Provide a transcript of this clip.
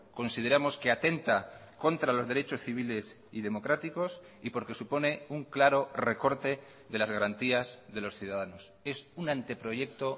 consideramos que atenta contra los derechos civiles y democráticos y porque supone un claro recorte de las garantías de los ciudadanos es un anteproyecto